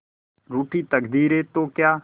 रूठी तकदीरें तो क्या